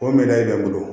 O minɛn bɛ n bolo